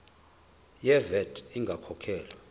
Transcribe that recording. ye vat ingakakhokhwa